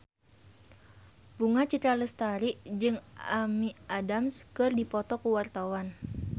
Bunga Citra Lestari jeung Amy Adams keur dipoto ku wartawan